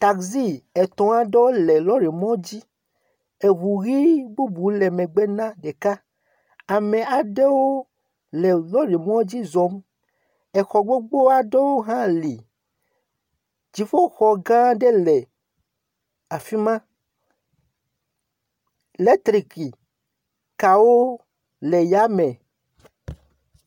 Taxi etɔ̃ aɖewo le lɔrimɔ la dzi. Ŋu ʋi bubu le megbe na ɖeka. Ame aɖewo le lɔrimɔ la dzi zɔm. Exɔ gbogbo aɖewo hã li. Dziƒoxɔ gã aɖe hã le afi ma. Eletrik kawo le yame.